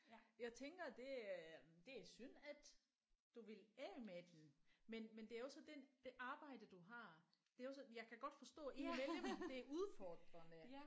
Jeg tænker det er det er synd at du vil af med den men men det er jo så den det arbejde du har det er jo så jeg kan godt forstå indimellem det er udfordrende